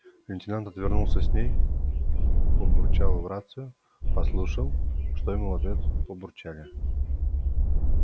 лейтенант отвернулся с ней побурчал в рацию послушал что ему в ответ побурчали